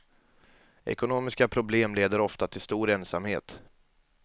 Ekonomiska problem leder ofta till stor ensamhet.